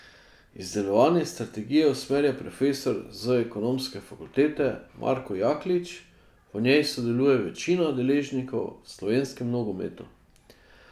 Izdelovanje strategije usmerja profesor z ekonomske fakultete Marko Jaklič, v njej sodeluje večina deležnikov v slovenskem nogometu.